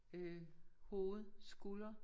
Øh hoved skulder